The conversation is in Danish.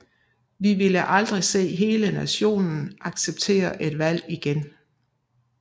Vi ville aldrig se hele nationen acceptere et valg igen